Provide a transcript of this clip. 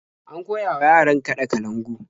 An koya wa yaran kaɗa kalangu.